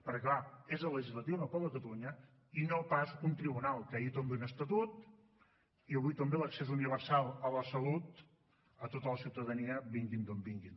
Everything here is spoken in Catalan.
perquè clar és el legislatiu no el poble de catalunya i no pas un tribunal que ahir tomba un estatut i avui tomba l’accés universal a la salut a tota la ciutadania vingui d’on vingui